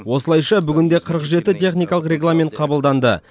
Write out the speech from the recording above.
осылайша бүгінде қырық жеті техникалық регламент қабылданды